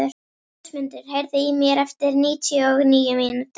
Rósmundur, heyrðu í mér eftir níutíu og níu mínútur.